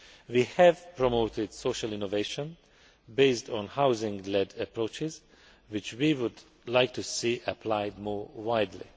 We have promoted social innovation based on housing led approaches which we would like to see applied more widely.